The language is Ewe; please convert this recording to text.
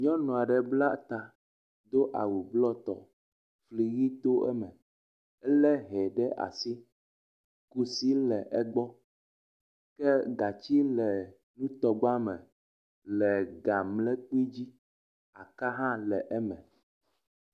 Nyɔnu aɖe bla ta do awu blɔ tɔ fli ʋi to eme ele hɛ ɖe asi. Kusi le egbɔ ke gatsi le nutɔgba me le ga mlekpi dzi aka hã le eme.